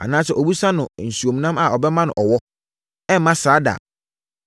Anaasɛ ɔbisa no nsuomnam a ɔbɛma no ɔwɔ? Ɛremma saa da!